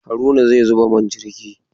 Haruna zai zuba man jirgi!